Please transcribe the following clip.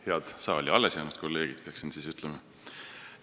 Head saali alles jäänud kolleegid, peaksin ütlema.